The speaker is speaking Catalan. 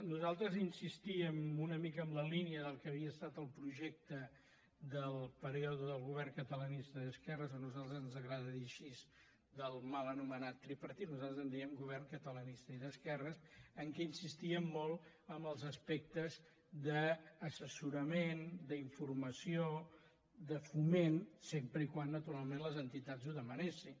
nosaltres insistíem una mica en la línia del que havia estat el projecte del període del govern catalanista d’esquerres a nosaltres ens agrada dir ho així del mal anomenat tripartit nosaltres ens diem govern catalanista i d’esquerres en què insistíem molt en els aspectes d’assessorament d’informació de foment sempre que naturalment les entitats ho demanessin